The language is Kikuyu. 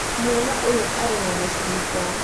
Mwana ũyũ arĩ na mũcinga